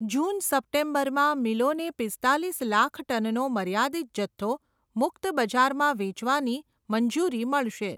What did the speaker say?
જૂન સપ્ટેમ્બરમાં મિલોને પિસ્તાલીસ લાખ ટનનો મર્યાદિત જથ્થો, મુક્ત બજારમાં વેચવાની મંજૂરી મળશે.